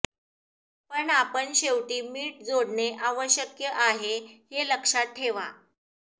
पण आपण शेवटी मीठ जोडणे आवश्यक आहे हे लक्षात ठेवा